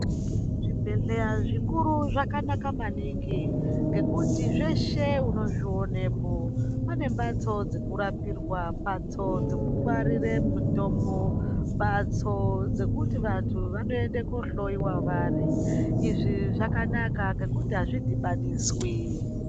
Zvibhedhleya zvikuru zvakanaka maningi, ngekuti zveshe unozvionepo. Pane mbatso dzekurapirwa, mbatso dzekungwarire mutombo, mbatso dzekuti vantu vanoende kohloiwa vari. Izvi zvakanaka ngekuti azvidhibaniswi.